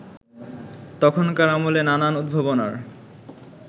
তখনকার আমলে নানান উদ্ভাবনার